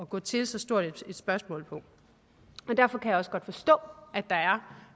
gå til så stort et spørgsmål på derfor kan jeg også godt forstå at der er